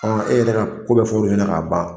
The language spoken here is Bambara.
E yɛrɛ ko bɛɛ fora ɲɛna k'a ban.